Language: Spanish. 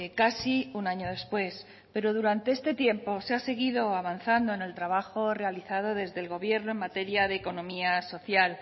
casi un año después pero durante este tiempo se ha seguido avanzando en el trabajo realizado desde el gobierno en materia de economía social